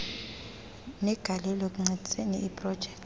negalelo ekuncediseni iprojekthi